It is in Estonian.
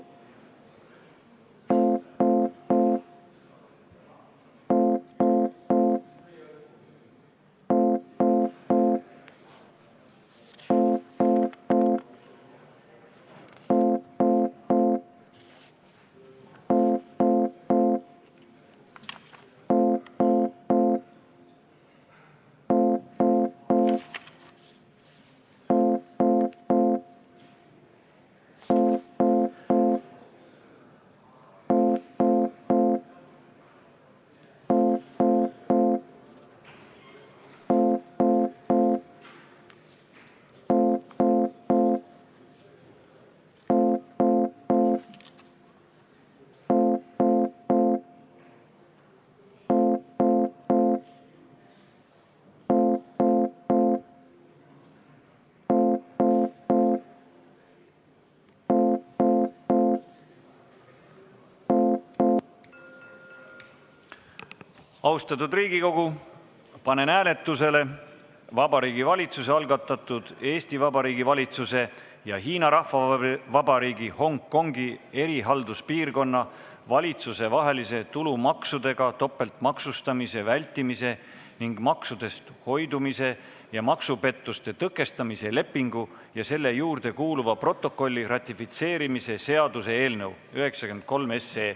Austatud Riigikogu, panen hääletusele Vabariigi Valitsuse algatatud Eesti Vabariigi valitsuse ja Hiina Rahvavabariigi Hongkongi erihalduspiirkonna valitsuse vahelise tulumaksudega topeltmaksustamise vältimise ning maksudest hoidumise ja maksupettuste tõkestamise lepingu ja selle juurde kuuluva protokolli ratifitseerimise seaduse eelnõu 93.